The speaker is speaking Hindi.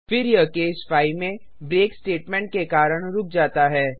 फिर यह केस 5 में ब्रेक स्टेटमेंट के कारण रुक जाता है